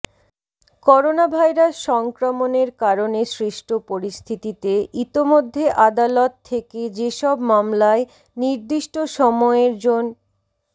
coronavirus সংক্রমণের কারণে সৃষ্ট পরিস্থিতিতে ইতোমধ্যে আদালত থেকে যেসব মামলায় নির্দিষ্ট সময়ের জন্